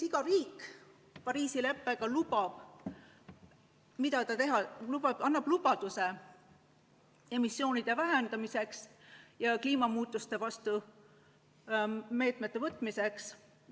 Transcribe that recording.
Iga riik Pariisi leppes lubab, mida tahab teha, annab lubaduse emissioonide vähendamiseks ja kliimamuutuste vastu meetmete võtmiseks.